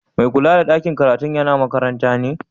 Mai kulla da ɗakin karatun yana makaranta ne?